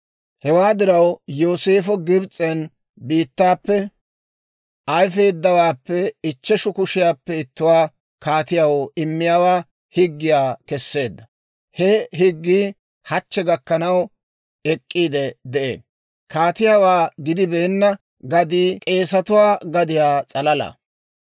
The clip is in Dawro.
Hewaa diraw, Yooseefo Gibs'en biittappe ayfeeddawaappe ichcheshu kushiyaappe ittuwaa kaatiyaw immiyaawaa higgiyaa kesseedda. He higgii hachche gakkanaw ek'k'iide de'ee. Kaatiyaawaa gidibeenna gadii k'eesetuwaa gadiyaa s'alala.